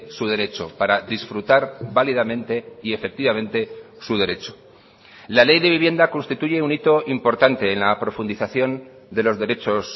su derecho para disfrutar válidamente y efectivamente su derecho la ley de vivienda constituye un hito importante en la profundización de los derechos